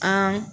An